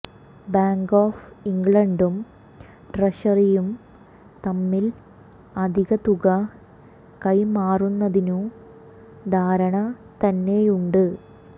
bank of ഇംഗ്ലണ്ടും ട്രഷറിയും തമ്മിൽ അധിക തുക കൈമാറുന്നതിനു ധാരണ തന്നെയുണ്ട്